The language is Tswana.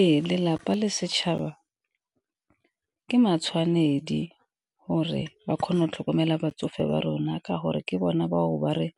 Ee, lelapa le setšhaba ke matshwanedi gore ba kgone go tlhokomela batsofe ba rona, ka gore ke bona bao ba re